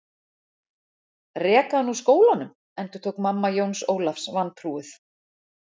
Reka hann úr skólanum endurtók mamma Jóns Ólafs vantrúuð.